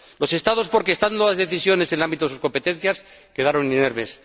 Los Estados, porque, estando las decisiones en el ámbito de sus competencias, quedaron inermes.